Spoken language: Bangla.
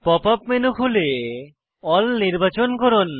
পপ আপ মেনু খুলে এএলএল নির্বাচন করুন